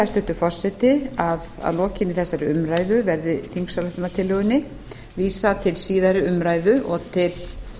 hæstvirtur forseti að að lokinni þeirri umræðu verði þingsályktunartillögunni vísað til síðari umræðu og til